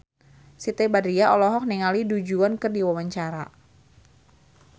Siti Badriah olohok ningali Du Juan keur diwawancara